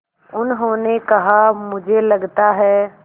उन्होंने कहा मुझे लगता है